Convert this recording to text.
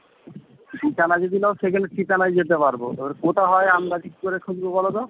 ঠিকানা যদি নাও সেখানে ঠিকানায় যেতে পারবো, কোথায় হয় আন্দাজি কী করে খুুঁজবো বলতো?